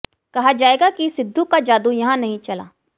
कहा जाएगा कि सिद्धू को जादू यहां नहीं चला